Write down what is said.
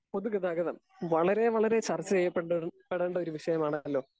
Speaker 2 പൊതുഗതാഗതം, വളരെ വളരെ ചർച്ചചെയ്യപ്പെണ്ട ഒരു പ്പെടേണ്ട ഒരു വിഷയമാണ്. അല്ലോ ?